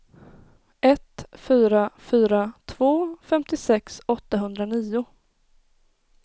ett fyra fyra två femtiosex åttahundranio